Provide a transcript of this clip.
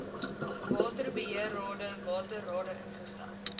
waterbeheerrade waterrade ingestel